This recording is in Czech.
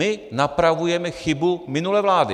My napravujeme chybu minulé vlády.